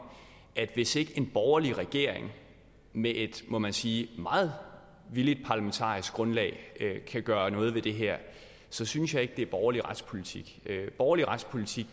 hvis ikke en borgerlig regering med et må man sige meget villigt parlamentarisk grundlag kan gøre noget ved det her så synes jeg ikke det er borgerlig retspolitik borgerlig retspolitik